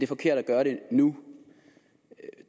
forkert at gøre det nu